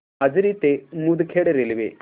माजरी ते मुदखेड रेल्वे